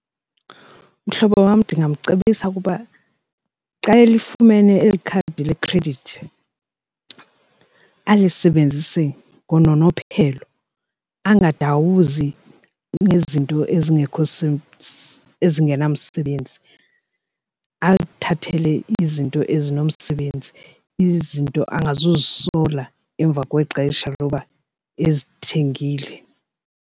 Mhlobo wam, ndingamcebisa ukuba xa elifumene eli khadi lekhredithi alisebenzise ngononophelo angadawuzi ngezinto nto ezingekho ezingenamsebenzi, alithathele izinto ezinomsebenzi izinto angazukuzisola emva kwexesha loba ezithengile.